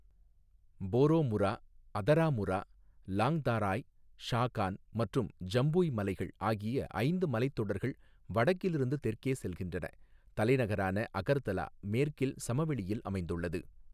போரோமுரா, அதராமுரா, லாங்தாராய், ஷாகான் மற்றும் ஜம்புய் மலைகள் ஆகிய ஐந்து மலைத்தொடர்கள் வடக்கிலிருந்து தெற்கே செல்கின்றன, தலைநகரான அகர்தலா, மேற்கில் சமவெளியில் அமைந்துள்ளது.